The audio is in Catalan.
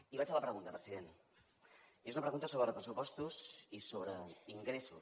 i vaig a la pregunta president i és una pregunta sobre pressupostos i sobre ingressos